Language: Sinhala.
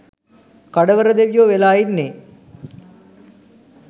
කඩවර දෙවියෝ වෙලා ඉන්නේ